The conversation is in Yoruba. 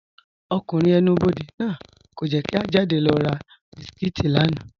Ọkùnrin ẹ̀nù-bọdẹ̀ náà kò jẹ́ kí à jádẹ̀ lọ rà bísikítì lána.